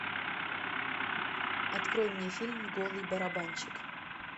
открой мне фильм голый барабанщик